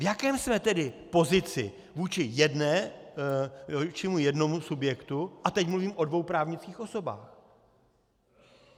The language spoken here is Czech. V jaké jsme tedy pozici vůči jednomu subjektu - a teď mluvím o dvou právnických osobách?